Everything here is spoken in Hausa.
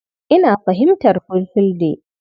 Ina fahimtar Fulfulde.